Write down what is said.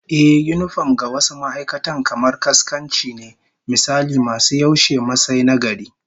Ehh, yinifom ga wasu ma'aikatan kamar kaskanci ne, misali masu yaushe Masai na gari